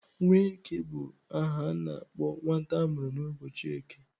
Nweke bu aha a na-akpo nwata amuru n'uboọchi eke.